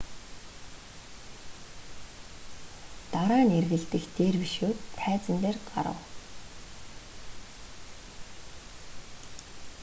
дараа нь эргэлдэх дервишүүд тайзан дээр гарав